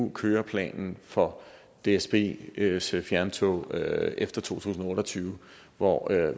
en køreplan for dsbs fjerntog efter to tusind og otte og tyve hvor